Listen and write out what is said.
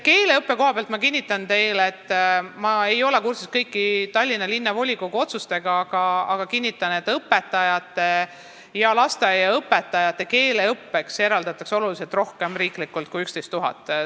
Keeleõppe koha pealt ma kinnitan teile, ehkki ma ei ole kursis kõigi Tallinna Linnavolikogu otsustega, et õpetajate ja lasteaiaõpetajate keeleõppeks eraldatakse riiklikult oluliselt rohkem kui 11 000 eurot.